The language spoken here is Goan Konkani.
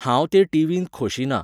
हांव ते टीवींत खोशी ना.